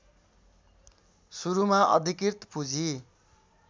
सुरुमा अधिकृत पूँजी